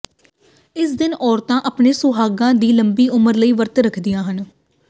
ਇਸ ਦਿਨ ਔਰਤਾਂ ਆਪਣੇ ਸੁਹਾਗਾਂ ਦੀ ਲੰਬੀ ਉਮਰ ਲਈ ਵਰਤ ਰੱਖਦੀਆਂ ਹਨ